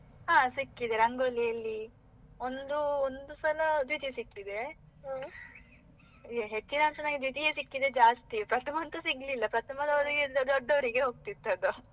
ಹಾ ಸಿಕ್ಕಿದೆ ರಂಗೋಲಿಯಲ್ಲಿ, ಒಂದು ಒಂದು ಸಲ ದ್ವಿತೀಯ ಸಿಕ್ಕಿದೆ ಹೆಚ್ಚಿನಂಶ ನನಗೆ ದ್ವಿತೀಯ ಸಿಕ್ಕಿದೆ ಜಾಸ್ತಿ, ಪ್ರಥಮ ಅಂತೂ ಸಿಗ್ಲಿಲ್ಲ ಪ್ರಥಮದವರಿಗೆ ದೊಡ್ಡವರಿಗೆ ಹೋಗ್ತಿದ್ದದ್ದು.